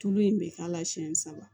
Tulu in bɛ k'a la siyɛn saba